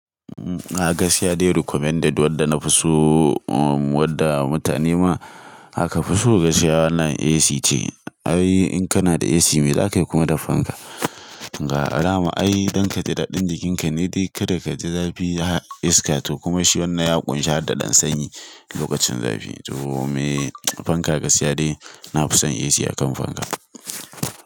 A gas ya dai recommended wanda na fi so umm wanda mutane ma aka fi so gashiya wannan AC ce. Ai in kana da AC me za ka yi kuma da fanka. Ga alama ai don ka ji daɗin jikinka ne dai kada ka ji zafi iska toh kuma shi wannan ya ƙunshi hada ɗan sanyi lokacin zafi. Toh mei fanka gas ya dai na fi son AC akan fanka.